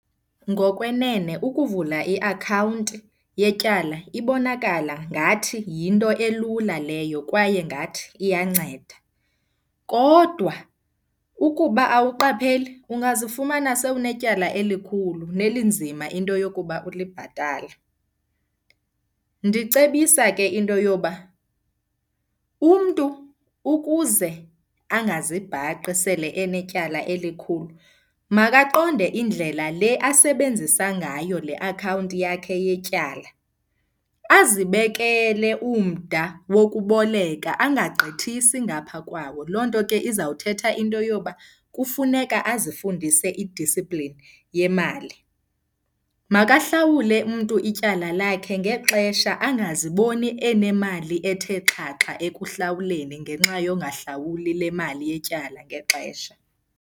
Ngokwenene ukuvula iakhawunti yetyala ibonakala ngathi yinto elula leyo kwaye ngathi iyanceda. Kodwa ukuba awuqapheli ungazifumana sewunetyala elikhulu nelinzima into yokuba ulibhatale. Ndicebisa ke into yoba umntu ukuze angazibhaqi sele enetyala elikhulu makaqonde indlela le asebenzisa ngayo le akhawunti yakhe yetyala azibekele umda wokuboleka, angagqithisi ngapha kwawo. Loo nto ke izawuthetha into yoba kufuneka azifundise i-discipline yemali. Makahlawule umntu ityala lakhe ngexesha angaziboni enemali ethe xhaxha ekuhlawuleni ngenxa yongahlawuli le mali yetyala ngexesha.